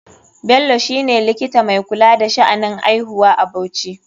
Bello shine likita mai kula da sha'anin aihuwa a bauchi.